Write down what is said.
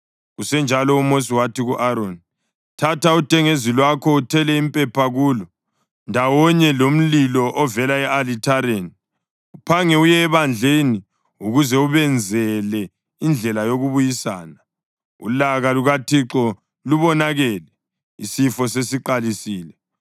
Kusenjalo uMosi wathi ku-Aroni, “Thatha udengezi lwakho uthele impepha kulo, ndawonye lomlilo ovela e-alithareni, uphange uye ebandleni ukuze ubenzele indlela yokubuyisana. Ulaka lukaThixo lubonakele; isifo sesiqalisile.”